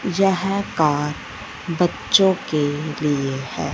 यह कार बच्चों के लिए है।